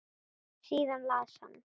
Síðan las hann